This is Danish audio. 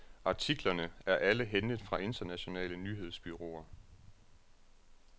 Artiklerne er alle hentet fra internationale nyhedsbureauer.